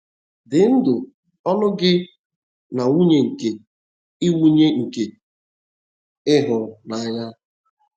“Di ndụ ọńụ gi na nwunye nke ị nwunye nke ị hụrụ n'anya ”